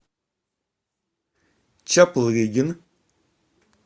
чаплыгин